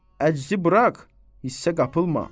Əczi burax, hissə qapılma.